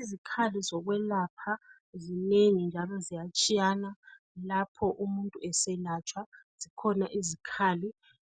Izikhali zokwelapha zinengi njalo ziyatshiyana lapho umuntu eselatshwa. Zikhona izikhali